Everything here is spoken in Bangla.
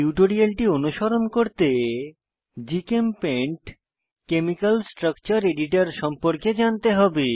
টিউটোরিয়ালটি অনুসরণ করতে জিচেমপেইন্ট কেমিকাল স্ট্রাকচার এডিটর সম্পর্কে জানতে হবে